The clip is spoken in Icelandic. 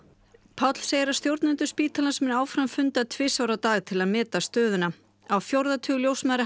Páll segir að stjórnendur spítalans muni áfram funda tvisvar á dag til að meta stöðuna á fjórða tug ljósmæðra